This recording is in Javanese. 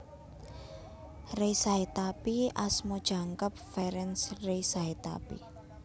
Ray Sahetapy asma jangkep Ferenc Ray Sahetapy